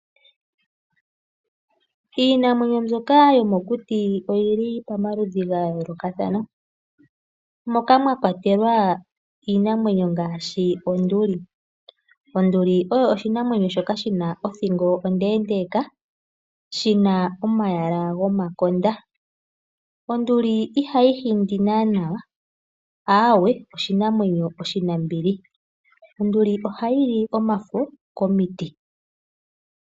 Iinamwenyo mbyoka yomokuti oyili pamaludhi gayolokathana. Moka mwakwatelwa iinamwenyo ngaashi onduli. Onduli oyo oshinamwenyo shoka shina othingo ondendeeka. Shina omayala gomakonda. Onduli ihayi hindi nanawa. Awe oshinamwenyo oshinambili. Onduli ohayi li omafo komiiti.